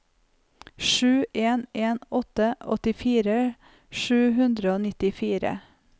sju en en åtte åttifire sju hundre og nittifire